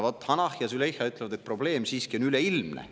Vaat, Hanah ja Züleyxa ütlevad, et probleem on siiski üleilmne.